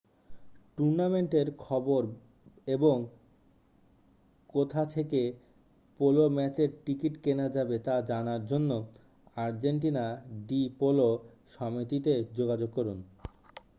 টুর্নামেন্টের খবর এবং কোথা থেকে পোলো ম্যাচের টিকিট কেনা যাবে তা জানার জন্য আর্জেন্টিনা ডি পোলো সমিতিতে যোগাযোগ করুন